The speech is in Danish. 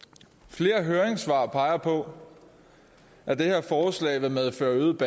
flere høringssvar peger på at det her forslag vil medføre øget